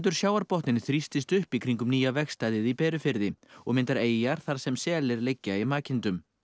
sjávarbotninn þrýstist upp í kringum nýja vegstæðið í Berufirði og myndar eyjar þar sem selir liggja í makindum